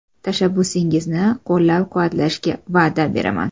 Tashabbusingizni qo‘llab-quvvatlashga va’da beraman.